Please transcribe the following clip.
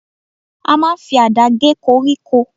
A máa ń fi àdá gé koríko.